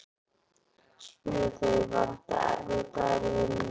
spurðu þau: Var þetta erfiður dagur í vinnunni?